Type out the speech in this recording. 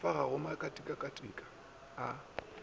fa ga go makatika a